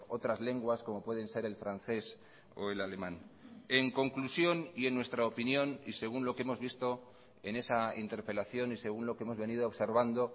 otras lenguas como pueden ser el francés o el alemán en conclusión y en nuestra opinión y según lo que hemos visto en esa interpelación y según lo que hemos venido observando